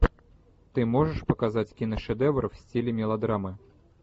ты можешь показать киношедевр в стиле мелодрамы